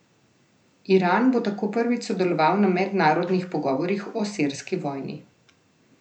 Iran bo tako prvič sodeloval na mednarodnih pogovorih o sirski vojni.